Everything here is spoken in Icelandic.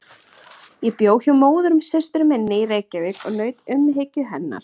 Ég bjó hjá móðursystur minni í Reykjavík og naut umhyggju hennar.